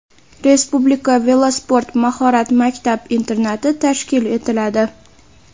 Respublika velosport mahorat maktab-internati tashkil etiladi.